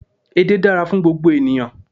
Edé dára fún gbogbo ènìyàn